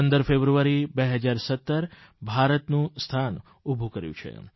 15 ફેબ્રુઆરી 2017 ભારતેપોતાનું સ્થાન ઉભું કર્યું છે